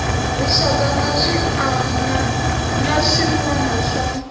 rixaka na swiana wana swa